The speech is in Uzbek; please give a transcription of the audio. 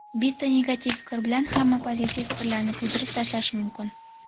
Bitta negativ fikr bilan hamma pozitiv fikrlarni kuydirib tashlash mumkin.